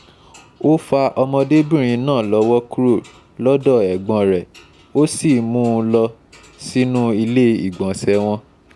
ó fa ọmọdébìnrin náà lọ́wọ́ kúrò lọ́dọ̀ ẹ̀gbọ́n rẹ̀ ó sì mú u mú u lọ sínú ilé ìgbọ̀nsẹ̀ wọn